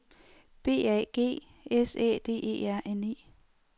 B A G S Æ D E R N E